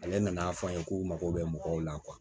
Ale nan'a fɔ an ye k'u mago bɛ mɔgɔw la